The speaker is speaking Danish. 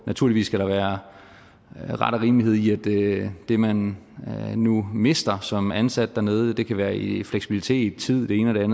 naturligvis skal være ret og rimelighed i at det det man nu mister som ansat dernede det kan være i fleksibilitet tid det ene og det